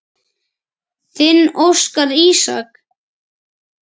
Þinn Óskar Ísak.